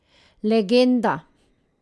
Legenda.